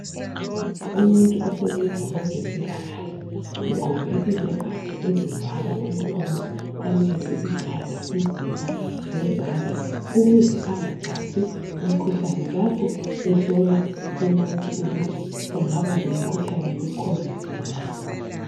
Umuntu osebenza kwezempilakahle ugqoke izembatho ezivala umlomo, amehlo, ikhanda, umzimba, lezandla ukuze angathathi umkhuhlane lapho ehlola umuntu ukuthi engaba lomkhuhlane we Khovidi na.